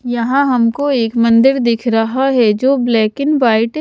यहाँ हमको एक मंदिर दिख रहा है जो ब्लैक एंड वाइट --